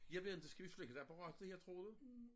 Jeg ved inte skal vi slukke apparatet jeg troede